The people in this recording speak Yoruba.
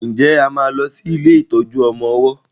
nje a má ló sì ilé ìtọjú ọmọ ọwó?